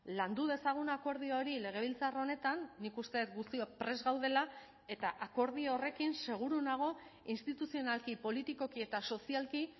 landu dezagun akordio hori legebiltzar honetan nik uste dut guztiok prest gaudela eta akordio horrekin seguru nago instituzionalki politikoki eta sozialki